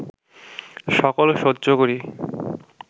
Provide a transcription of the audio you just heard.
সকল সহ্য করি